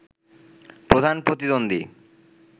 প্রধান প্রতিদ্বন্দী